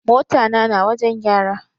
Mota na na wajen gyara.